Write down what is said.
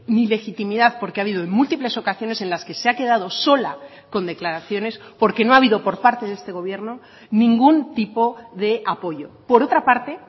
ni legitimidad porque ha habido en múltiples ocasiones en las que se ha quedado sola con declaraciones porque no ha habido por parte de este gobierno ningún tipo de apoyo por otra parte